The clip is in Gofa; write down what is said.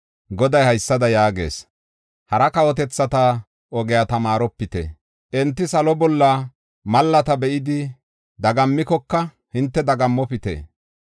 Goday haysada yaagees: “Hara kawotethata ogiya tamaaropite. Enti salo bolla malaata be7idi dagammikoka, hinte dagammopite.